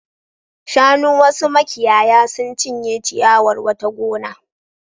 Shanun wasu makiyaya sun cinye ciyawar wata gona.